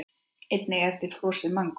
Einnig er til frosið mangó.